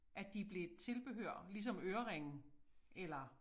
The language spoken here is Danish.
At de blev et tilbehør ligesom øreringe eller